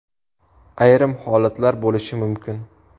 Ayrim holatlar bo‘lishi mumkin.